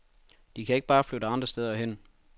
De kan ikke bare flytte andre steder hen.